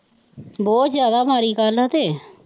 ਬਹੁਤ ਜ਼ਿਆਦਾ ਮਾੜੀ ਗੱਲ ਹੈ ਤੇ।